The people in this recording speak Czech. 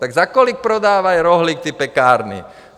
Tak za kolik prodávají rohlík pekárny?